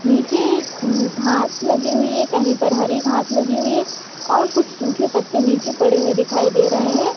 नीचे एक घास लगी हुई है कही पर हरी घास लगी हुई है और कुछ सूखे पत्ते नीचे पड़े हुए दिखाई दे रहे है।